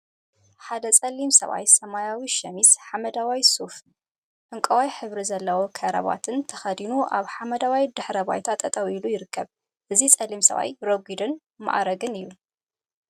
ሓደ ፀሊም ሰብአይ ሰማያዊ ሸሚዝ፣ ሓመደዋይ ሱፍን ዕንቋይ ሕብሪ ዘለዎ ከረባታን ተከዲኑ አብ ሓመደዋይ ድሕረ ባይታ ጠጠው ኢሉ ይርከብ። እዚ ፀሊም ሰብአይ ረጊድን ማእጋርን እዩ።